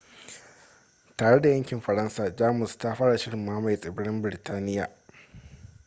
tare da yakin faransa jamus ta fara shirin mamaye tsibirin biritaniya